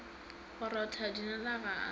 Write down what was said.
go rotha dinala ga a